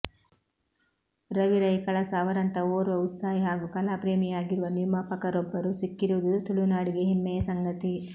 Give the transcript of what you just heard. ರವಿ ರೈ ಕಳಸ ಅವರಂಥ ಓರ್ವ ಉತ್ಸಾಹಿ ಹಾಗೂ ಕಲಾಪ್ರೇಮಿಯಾಗಿರುವ ನಿರ್ಮಾಪಕರೊಬ್ಬರು ಸಿಕ್ಕಿರುವುದು ತುಳುನಾಡಿಗೆ ಹೆಮ್ಮೆಯ ಸಂಗತಿ